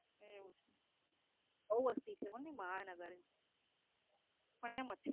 હે એવું? બોવ વસ્તી છે હો મહાનગર પણ ત્યાં મચ્છી